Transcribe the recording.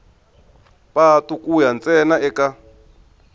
patu ku ya ntsena eka